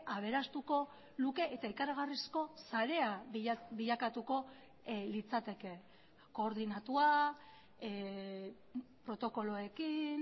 aberastuko luke eta ikaragarrizko sarea bilakatuko litzateke koordinatua protokoloekin